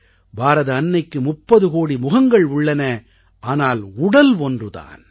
பாரத அன்னைக்கு 30 கோடி முகங்கள் உள்ளன ஆனால் உடல் ஒன்று தான்